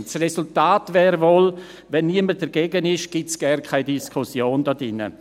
Das Resultat wäre wohl: Wenn niemand dagegen ist, findet hier drin gar keine Diskussion statt.